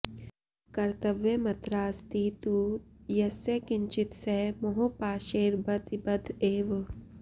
कर्तव्यमत्रास्ति तु यस्य किञ्चित् स मोहपाशैर्बत बद्ध एव